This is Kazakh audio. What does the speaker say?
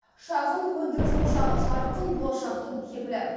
шағын өндіріс ошағы жарқын болашақтың кепілі